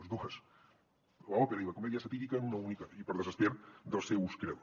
les dues l’òpera i la comèdia satírica en una única i per desesper dels seus creadors